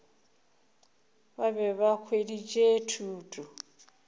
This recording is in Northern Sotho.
ba be ba hweditše thuto